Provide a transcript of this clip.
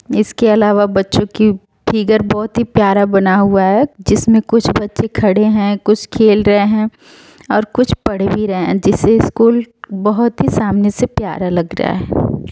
इसके अलावा बच्चों की फिगर बोहोत ही प्यारा बना हुआ है जिसमें कुछ बच्चे खड़े हैं कुछ खेल रहे हैं और कुछ पढ भी रहे हैं जिससे स्कूल बोहोत ही सामने से प्यारा लग रहा है।